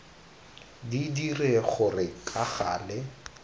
di dire gore ka gale